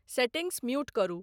Settings mute करू।